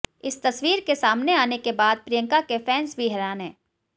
इस तस्वीर के सामने आने के बाद प्रियंका के फैंस भी हैरान हैं